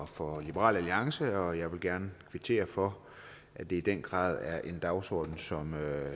for liberal alliance og jeg vil gerne kvittere for at det i den grad er en dagsorden som